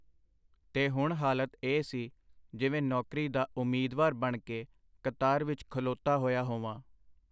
ਤੇ ਹੁਣ ਹਾਲਤ ਇਹ ਸੀ, ਜਿਵੇਂ ਨੌਕਰੀ ਦਾ ਉਮੀਦਵਾਰ ਬਣ ਕੇ ਕਤਾਰ ਵਿਚ ਖਲੋਤਾ ਹੋਇਆ ਹੋਵਾਂ.